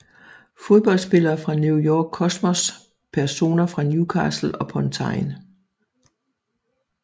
Fodboldspillere fra New York Cosmos Personer fra Newcastle upon Tyne